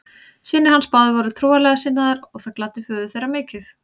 Synir hans báðir voru trúarlega sinnaðir og það gladdi föður þeirra mikið.